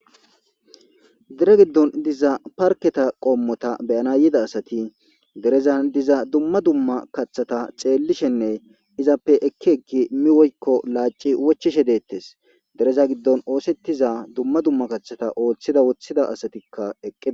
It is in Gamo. dere giddon diza parketa qommota beyana yida asati gerezan diza dumma dumma kaththata xeellishenne izappe ekki ekki mi woykko laaci wochishe deettes dereza giddon oosettiza dumma dumma kaththata ooththida woththida asatikka eqqe